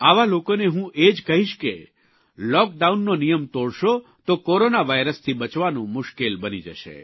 આવા લોકોને હું એ જ કહીશ કે લૉકડાઉનનો નિયમ તોડશો તો કોરોના વાયરસથી બચવાનું મુશ્કેલ બની જશે